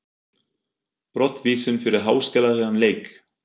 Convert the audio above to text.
Brottvísun fyrir háskalegan leik?